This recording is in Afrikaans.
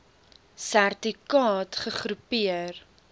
serti kaat gegroepeer